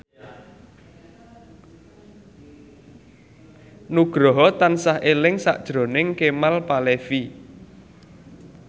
Nugroho tansah eling sakjroning Kemal Palevi